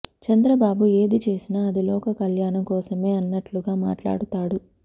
చంద్రబాబు ఏది చేసినా అది లోక కళ్యాణం కోసమే అన్నట్టుగా మాట్లాడుతాడు